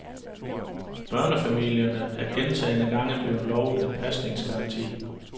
Børnefamilierne er gentagne gange blevet lovet en pasningsgaranti.